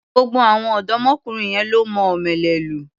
Gbogbo àwọn ọ̀dọ́mọkùnrin yẹn lọ́ mọ omele lù.